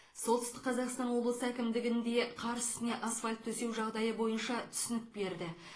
солтүстік қазақстан облысы әкімдігінде қар үстіне асфальт төсеу жағдайы бойынша түсінік берді